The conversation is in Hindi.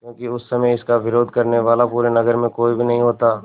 क्योंकि उस समय इसका विरोध करने वाला पूरे नगर में कोई भी नहीं होता